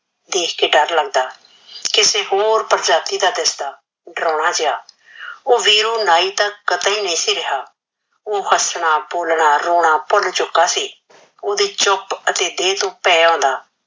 ਦੇਖ ਕੇ ਡਰ ਲਗਦਾ ਕਿਸੇ ਹੋਰ ਪ੍ਰਜਾਤੀ ਦਾ ਦਿਸਦਾ ਡਰਾਉਣਾ ਜਿਹਾ ਓਹ ਵੀਰੂ ਨਾਈ ਤਾ ਕਤੇ ਨਹੀ ਸੀ ਰਿਹਾ ਓਹ ਹਸਣਾ ਬੋਲਣਾ ਰੋਣਾ ਭੁਲ ਚੁਕਾ ਸੀ ਓਹਦੀ ਚੁਪ ਅਤੇ ਦਿਲ ਨੂ ਭੇ ਆਉਂਦਾ